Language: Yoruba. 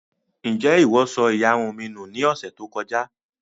Ǹjẹ́ ìwọ sọ ìyarun mi nù ní ọ̀sẹ̀ tí ó kọjá